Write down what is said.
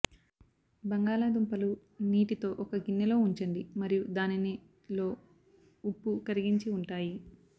బంగాళ దుంపలు నీటితో ఒక గిన్నె లో ఉంచండి మరియు దానిని లో ఉప్పు కరిగించి ఉంటాయి